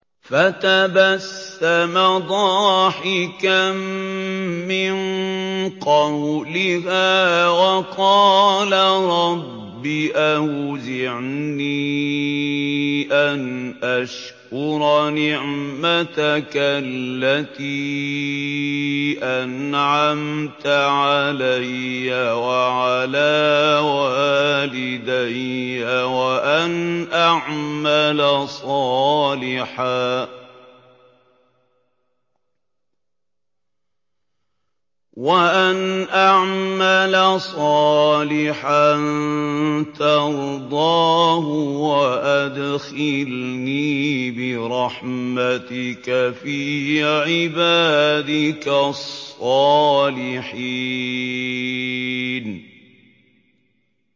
فَتَبَسَّمَ ضَاحِكًا مِّن قَوْلِهَا وَقَالَ رَبِّ أَوْزِعْنِي أَنْ أَشْكُرَ نِعْمَتَكَ الَّتِي أَنْعَمْتَ عَلَيَّ وَعَلَىٰ وَالِدَيَّ وَأَنْ أَعْمَلَ صَالِحًا تَرْضَاهُ وَأَدْخِلْنِي بِرَحْمَتِكَ فِي عِبَادِكَ الصَّالِحِينَ